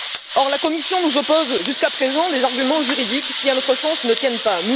Or, la Commission nous oppose, jusqu'à présent, des arguments juridiques qui, à notre sens, ne tiennent pas.